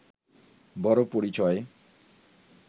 বড় পরিচয়